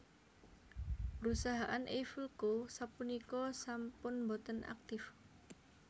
Perusahaan Eiffel Co sapunika sampun boten aktif